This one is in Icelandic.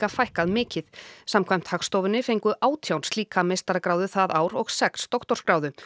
fækkað mikið samkvæmt Hagstofunni fengu átján slíka meistaragráðu það ár og sex doktorsgráðu